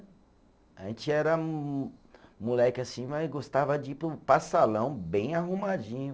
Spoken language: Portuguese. A gente era mo, moleque assim, mas gostava de ir para o, para salão bem arrumadinho.